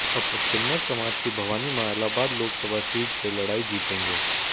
अब किन्नर समाज की भवानी मां इलाहाबाद लोकसभा सीट से लड़ाई जीतेंगे